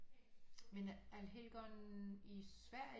Men Allhelgona i Sverige